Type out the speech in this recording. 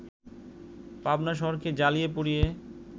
পাবনা শহরকে জ্বালিয়ে-পুড়িয়ে